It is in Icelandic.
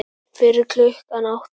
Fyrir klukkan átta?